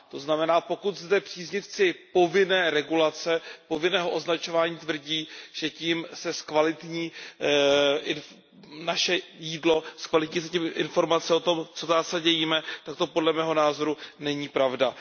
To znamená, pokud zde příznivci povinné regulace, povinného označování tvrdí, že tím se zkvalitní i naše jídlo, zkvalitní se tím informace o tom, co v zásadě jíme, tak to podle mého názoru není pravda.